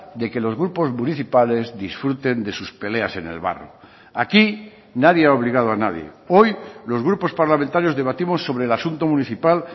de que los grupos municipales disfruten de sus peleas en el barro aquí nadie ha obligado a nadie hoy los grupos parlamentarios debatimos sobre el asunto municipal